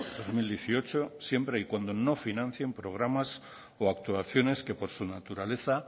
dos mil dieciocho siempre y cuando no financien programas o actuaciones que por su naturaleza